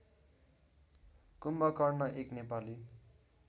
कुम्भकर्ण एक नेपाली